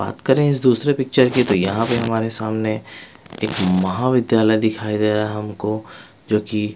बात करें इस दूसरे पिक्चर की तो यहाँ पे हमारे सामने एक महाविद्यालय दिखाई दे रहा है हमको जो कि--